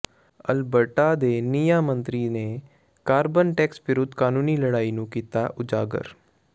Alberta ਦੇ ਨਿਆਂ ਮੰਤਰੀ ਨੇ ਕਾਰਬਨ ਟੈਕਸ ਵਿਰੁੱਧ ਕਾਨੂੰਨੀ ਲੜਾਈ ਨੂੰ ਕੀਤਾ ਉਜਾਗਰ